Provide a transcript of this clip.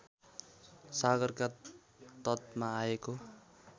सागरका तटमा आएको